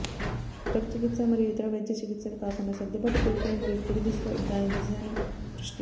drug చికిత్స మరియు ఇతర వైద్య చికిత్సలు కాకుండా సర్దుబాటు ప్రక్రియ మరియు కుడి దిశలో దాని దిశను దృష్టి